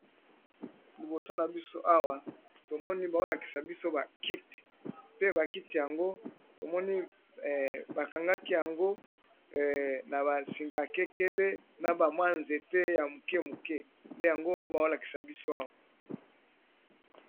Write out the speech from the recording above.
Liboso na biso awa bazali kolakisa biso ba kiti, pe ba kiti yango bakangi yango esika moko